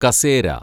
കസേര